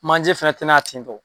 Manje fana tɛ na ya tentɔ.